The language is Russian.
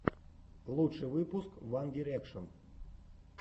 лучший выпуск ван дирекшен